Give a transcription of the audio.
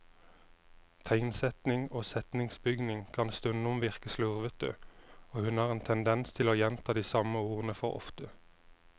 Tegnsetting og setningsbygning kan stundom virke slurvete, og hun har en tendens til å gjenta de samme ordene for ofte.